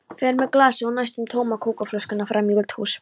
Fer með glasið og næstum tóma kókflöskuna fram í eldhús.